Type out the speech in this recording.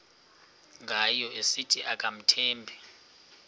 ngayo esithi akamthembi